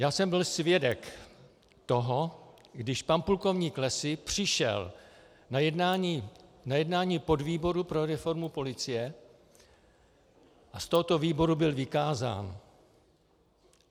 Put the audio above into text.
Já jsem byl svědek toho, když pan plukovník Lessy přišel na jednání podvýboru pro reformu policie a z tohoto výboru byl vykázán.